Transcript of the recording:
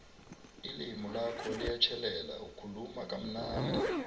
ilimi lakho liyatjhelela ukhuluma kamnandi